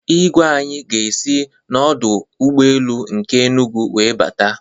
Igwe anyị ga-esi n'ọdọ ụgbọelu nke Enugwu wee bata